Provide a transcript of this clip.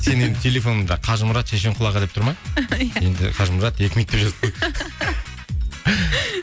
сенің енді телефоныңда қажымұрат шешенқұл аға деп тұра ма иә енді қажымұрат екі минут деп жазып қой